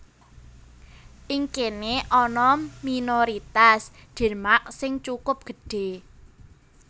Ing kéné ana minoritas Denmark sing cukup gedhé